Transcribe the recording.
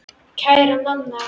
Kæra Nanna.